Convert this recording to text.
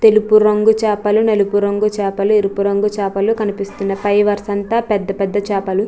తెలుపు రంగు చేపలు నలుపు రంగు చేపలు ఎరుపు రంగు చేపలు కనిపిస్తున్నాయి పై వరసంతా పెద్ద పెద్ద చేపలు --